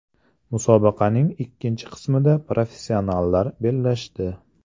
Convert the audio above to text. Musobaqaning ikkinchi qismida professionallar bellashdi.